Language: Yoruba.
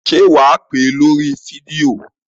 Ṣé wà á pè é lórí fídíò?